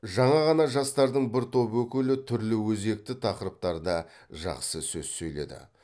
жаңа ғана жастардың бір топ өкілі түрлі өзекті тақырыптарда жақсы сөз сөйледі